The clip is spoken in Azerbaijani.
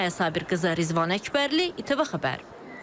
Maya Sabirqızı, Rizvan Əkbərli, İTV Xəbər.